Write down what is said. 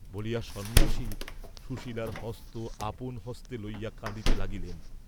বলিয়া সন্ন্যাসী সুশীলার হস্ত আপন হস্তে লইয়া কঁদিতে লাগিলেন।